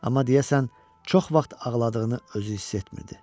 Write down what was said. Amma deyəsən çox vaxt ağladığını özü hiss etmirdi.